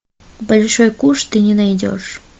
большой куш ты не найдешь